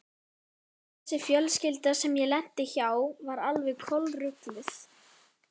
Þessi fjölskylda sem ég lenti hjá var alveg kolrugluð.